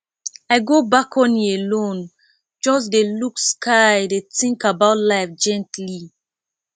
i go balcony alone just dey look sky dey think about life gently